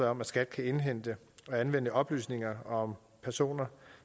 om at skat kan indhente og anvende oplysninger om personer